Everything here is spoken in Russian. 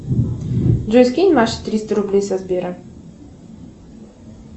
джой скинь маше триста рублей со сбера